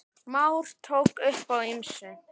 Már tók upp á ýmsu.